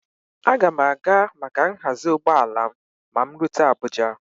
Aga m a ga maka nhazi ụgbọala m ma m rute Abuja